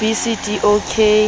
b c d o ka